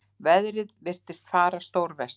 Veðrið virtist fara stórversnandi.